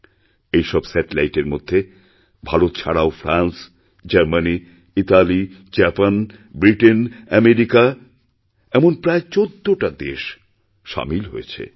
এইসব স্যাটেলাইটের মধ্যে ভারত ছাড়াও France Germany Italy Japan Britain America এমন প্রায় ১৪টা দেশ সামিল হয়েছে